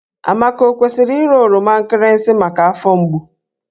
Amaka o kwesịrị ịra oroma nkịrịsị maka afọ mgbu?